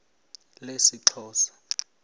lesixhosa